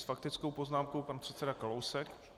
S faktickou poznámkou pan předseda Kalousek.